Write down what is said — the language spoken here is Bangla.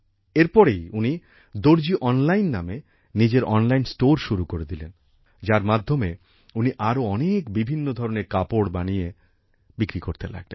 এর পরেই উনি দর্জি অনলাইন নামে নিজের অনলাইন স্টোর শুরু করে দিলেন যার মাধ্যমে উনি আরো অনেক বিভিন্ন ধরনের কাপড় বানিয়ে বিক্রি করতে লাগলেন